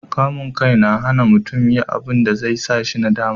kamun kai na hana mutum yi abunda zai sa shi nadama